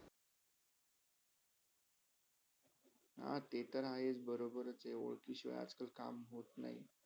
अ ते तर आहेच बरोबर ते वलकि शिवाय काम होत नाही आज- कल. होत नाही